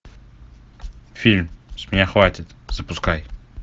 фильм с меня хватит запускай